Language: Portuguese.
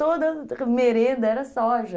Toda merenda era soja.